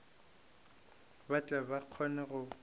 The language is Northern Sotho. ba tle ba kgone go